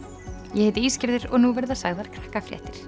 ég heiti og nú verða sagðar